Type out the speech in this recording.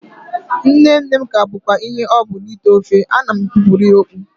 Nne nne m ka bụkwa ihe ọ bụ n'ite ofe, ana m ekpupụrụ ya okpu